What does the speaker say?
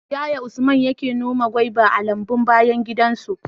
Yaya Usman yake noma goba a lambun bayan gidansa?